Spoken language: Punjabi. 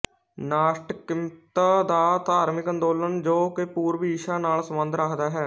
ਨਾਸਟਿਕਮਤ ਦਾ ਧਾਰਮਿਕ ਅੰਦਲੋਨ ਜੋ ਕਿ ਪੂਰਵ ਈਸਾ ਨਾਲ ਸੰਬੰਧ ਰੱਖਦਾ ਹੈ